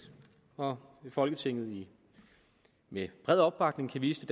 og at folketinget med bred opbakning kan vise